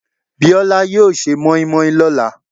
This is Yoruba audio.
Bíọ́lá yóò se mọ́ímọ́í lọ́la.